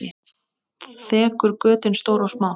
Þekur götin stór og smá.